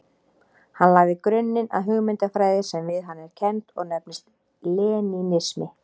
Hann lagði grunninn að hugmyndafræði sem við hann er kennd og nefnist lenínismi.